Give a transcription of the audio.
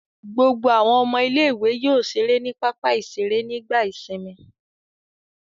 Gbogbo àwọn ọmọ ilé-ìwé yóò ṣeré ní pápá-ìṣeré nígbà ìsìnmi.